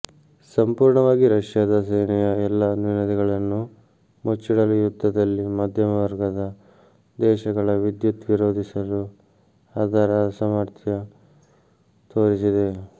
ಸಂಪೂರ್ಣವಾಗಿ ರಷ್ಯಾದ ಸೇನೆಯ ಎಲ್ಲಾ ನ್ಯೂನತೆಗಳನ್ನು ಮುಚ್ಚಿಡಲು ಯುದ್ಧದಲ್ಲಿ ಮಧ್ಯಮವರ್ಗದ ದೇಶಗಳ ವಿದ್ಯುತ್ ವಿರೋಧಿಸಲು ಅದರ ಅಸಾಮರ್ಥ್ಯ ತೋರಿಸಿದೆ